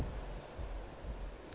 sena se tla ba le